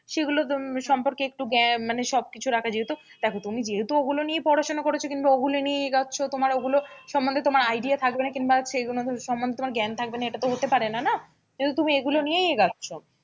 সেগুলো সম্পর্কে একটু জ্ঞান মানে সবকিছু রাখা যেহেতু দেখো তুমি যেহেতু ওগুলো নিয়ে পড়াশোনা করেছো কিংবা ওগুলো নিয়েই এগোছো তোমার ওগুলো সমন্ধে তোমার idea থাকবে না কিংবা সেগুলো সমন্ধে তোমার জ্ঞান থাকবে না এটা তো হতে পারে না না, যেহেতু তুমি এগুলো নিয়েই এগোছো,